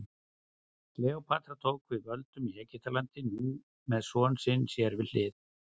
Kleópatra tók við völdum í Egyptalandi, nú með son sinn sér við hlið.